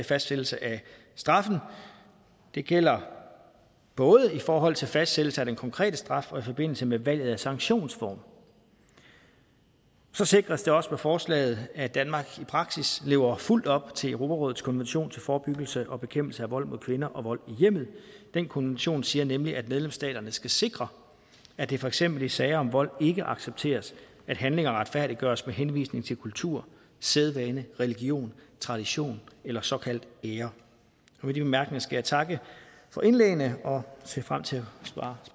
fastsættelse af straffen det gælder både i forhold til fastsættelse af den konkrete straf og i forbindelse med valget af sanktionsform så sikres det også med forslaget at danmark i praksis lever fuldt op til europarådets konvention til forebyggelse og bekæmpelse af vold mod kvinder og vold i hjemmet den konvention siger nemlig at medlemsstaterne skal sikre at det for eksempel i sager om vold ikke accepteres at handlinger retfærdiggøres med henvisning til kultur sædvane religion tradition eller såkaldt ære med de bemærkninger skal jeg takke for indlæggene og jeg ser frem til at svare